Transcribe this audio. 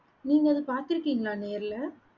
நீங்க அத பாத்திருகின்களா நேர்ல